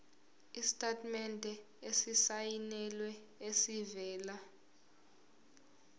isitatimende esisayinelwe esivela